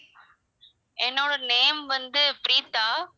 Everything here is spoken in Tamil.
என்னோட name வந்து ப்ரீதா.